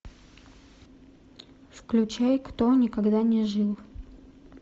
включай кто никогда не жил